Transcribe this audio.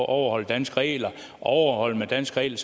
overholder danske regler overholder man danske regler